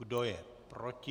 Kdo je proti?